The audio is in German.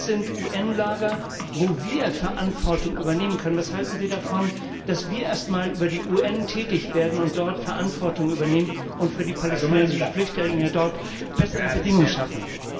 Das sind UN Lager, wo wir Verantwortung übernehmen können. Was halten Sie davon, dass wir erst mal über die UN tätig werden, dort Verantwortung übernehmen und für die palästinensischen Flüchtlinge dort bessere Bedingungen schaffen?